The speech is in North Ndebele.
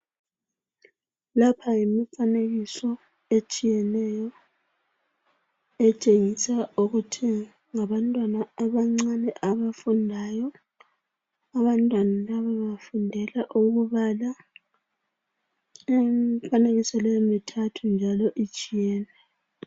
Lapha yimifanekiso etshiyeneyo etshengisa ukuthi ngabantwana abancane abafundayo. Abantwana laba bafundela ukubala. Imifanekiso leyi mithathu njalo itshiyene.